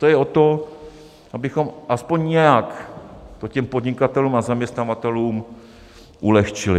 To je o tom, abychom aspoň nějak to těm podnikatelům a zaměstnavatelům ulehčili.